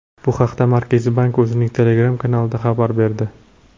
Bu haqda Markaziy bank o‘zining Telegram kanalida xabar berdi.